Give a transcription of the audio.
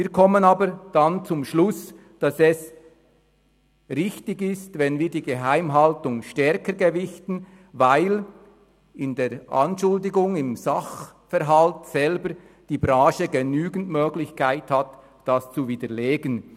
Wir kommen aber zum Schluss, dass es richtig ist, die Geheimhaltung stärker zu gewichten, weil in der Anschuldigung, im Sachverhalt selber die Branche an und für sich genügend Möglichkeiten hat, das zu widerlegen.